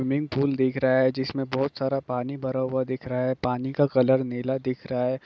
Swimming pool दिख रहा जिसमें बहुत सारा पानी भरा हुआ दिख रहा है पानी का कलर नीला है।